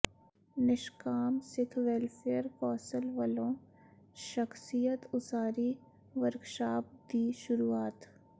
ਨਿਸ਼ਕਾਮ Sikh welfare council ਵਲੋਂ ਸ਼ਖ਼ਸੀਅਤ ਉਸਾਰੀ ਵਰਕਸ਼ਾਪ ਦੀ ਸ਼ੁਰੂਆਤ